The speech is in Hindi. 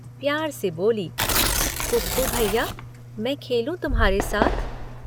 प्यार से बोली, “कुप्पू भैया, मैं खेलूं तुम्हारे साथ।